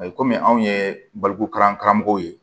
Ayi komi anw ye balikukaramɔgɔw ye